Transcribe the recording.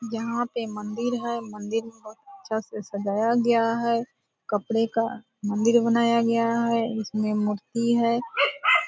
यहाँ पे मंदिर है मंदिर में बहुत अच्छा से सजाया गया है कपड़े का मंदिर बनाया गया है इसमें मूर्ति है।